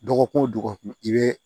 Dɔgɔkun o dɔgɔkun i bɛ